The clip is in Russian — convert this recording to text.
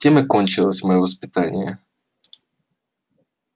тем и кончилось моё воспитание